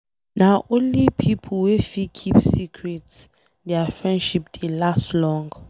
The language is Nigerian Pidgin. Na only pipo wey fit keep secret dia friendship dey last long.